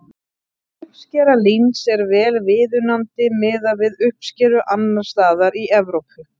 Uppskera líns er vel viðunandi miðað við uppskeru annars staðar í Evrópu.